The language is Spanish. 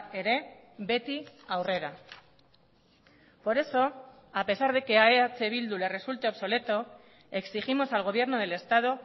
ere beti aurrera por eso a pesar de que a eh bildu le resulte obsoleto exigimos al gobierno del estado